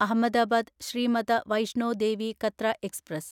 Ahmedabad Shri Mata Vaishno Devi Katra express